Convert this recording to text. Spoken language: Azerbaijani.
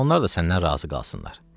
Onlar da səndən razı qalsınlar.